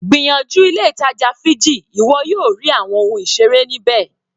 Gbìyànjú ilé ìtàjà Figgy ìwọ yóò rí àwọn ohun ìseré ní bẹ́ẹ̀.